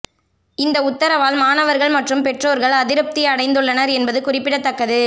இந்த உத்தரவால் மாணவர்கள் மற்றும் பெற்றோர்கள் அதிருப்தி அடைந்துள்ளனர் என்பது குறிப்பிடத்தக்கது